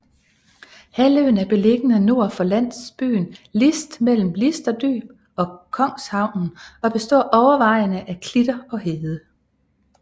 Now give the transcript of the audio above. Halvøen er beliggende nord for landsbyen List mellem Listerdyb og Kongshavnen og består overvejende af klitter og hede